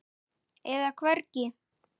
eða hvergi.